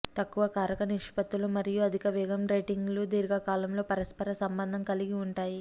తక్కువ కారక నిష్పత్తులు మరియు అధిక వేగం రేటింగ్లు దీర్ఘకాలంతో పరస్పర సంబంధం కలిగి ఉంటాయి